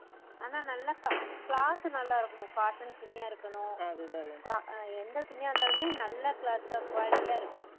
ஆனா cloth cloth நல்லா இருக்கணும் cotton துணியா இருக்கணும் எந்த துணியா இருந்தாலுமே நல்ல cloth தா quality யா இருக்கணும்